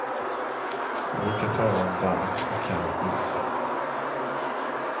Man brukar tala om varm och kall is.